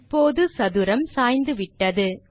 இப்போது சதுரம் சாய்ந்துவிட்டது